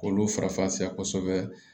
Olu farafa kosɛbɛ